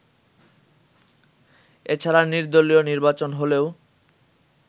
এছাড়া নির্দলীয় নির্বাচন হলেও